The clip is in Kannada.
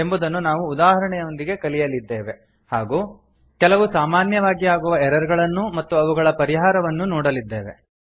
ಎಂಬುದನ್ನು ನಾವು ಉದಾಹರಣೆಯೊಂದಿಗೆ ಕಲಿಯಲಿದ್ದೇವೆ ಹಾಗೂ ಕೆಲವು ಸಾಮಾನ್ಯವಾಗಿ ಆಗುವ ಎರರ್ ಗಳನ್ನೂ ಮತ್ತು ಅವುಗಳ ಪರಿಹಾರವನ್ನೂ ನೋಡಲಿದ್ದೇವೆ